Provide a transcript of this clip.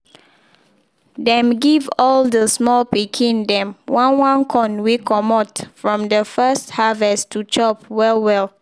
dem give all de small pikin dem one one corn wey comot from de first harvest to chop well well